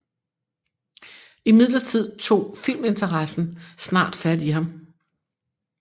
Imidlertid tog filminteressen snart fat i ham